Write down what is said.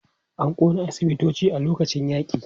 An ƙona asibitoci a lokacin yaƙi.